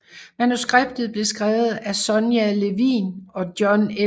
Manuskriptet blev skrevet af Sonya Levien og John L